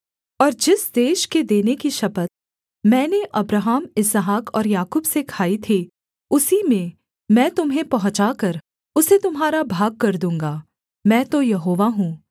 और जिस देश के देने की शपथ मैंने अब्राहम इसहाक और याकूब से खाई थी उसी में मैं तुम्हें पहुँचाकर उसे तुम्हारा भागकर दूँगा मैं तो यहोवा हूँ